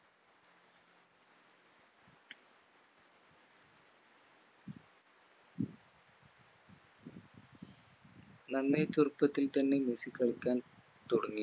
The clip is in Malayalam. നന്നേ ചെറുപ്പത്തിൽ തന്നെ മെസ്സി കളിക്കാൻ തുടങ്ങി